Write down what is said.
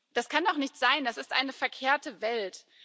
Das kann doch nicht sein, das ist eine verkehrte Welt!